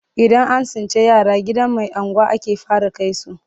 Idan an tsinci yara gidan mai unguwa ake fara kai su,